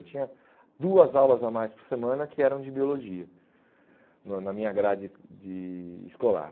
Eu tinha duas aulas a mais por semana que eram de biologia no na minha grade de escolar.